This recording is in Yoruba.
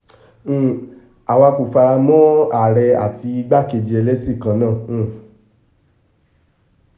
um àwa kò fara mọ́ àárẹ̀ àti igbákejì ẹlẹ́sìn kan náà um